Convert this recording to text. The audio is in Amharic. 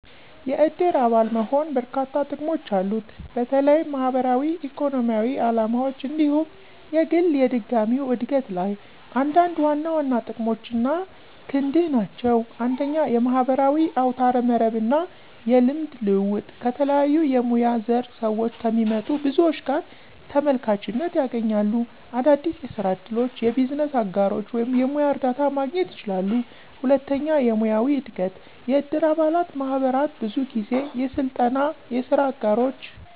የእድር አባል መሆን በርካሽ ጥቅሞች አሉት፣ በተለይም ማህበራዊ፣ ኢኮኖሚያዊ ዓላማዎች እንዲሁም የግል የድጋሚው እድገት ላይ። አንዳንድ ዋና ዋና ጥቅሞች አና ክንድህ ናቸው 1. የማህበራዊ አውታረ መረብ እና የልምድ ልውውጥ - ከተለያዩ የሙያ ዘር ስዎች ከሚመጡ ብዙዎች ጋር ተመልካችነት ያገኛሉ። - አዳዲስ የስራ እድሎች፣ የቢዝነስ አጋሮች ወይም የሙያ እርዳታ ማግኘት ይችላሉ። 2. የሙያዊ እድገት** - የእድር አባላት ማህበራት ብዙ ጊዜ የስልጠና፣ የስራ አጋሮች፣